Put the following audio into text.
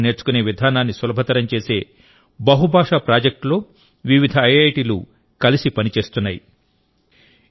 స్థానిక భాషలను నేర్చుకునే విధానాన్ని సులభతరం చేసే బహుభాషా ప్రాజెక్టులో వివిధ ఐఐటిలు కలిసి పనిచేస్తున్నాయి